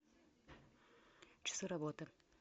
часы работы